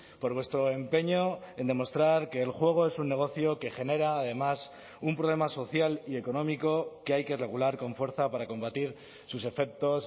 por vuestro empeño en demostrar que el juego es un negocio que genera además un problema social y económico que hay que regular con fuerza para combatir sus efectos